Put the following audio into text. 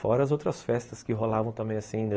Fora as outras festas que rolavam também, assim,